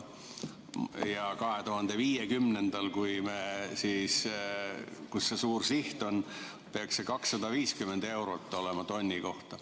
Ja 2050, kus see suur siht on, peaks see olema 250 eurot tonni kohta.